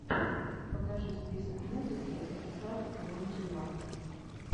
покажи список музыки эксар твонти уан